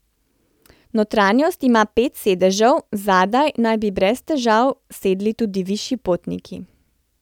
Notranjost ima pet sedežev, zadaj naj bi brez težav sedli tudi višji potniki.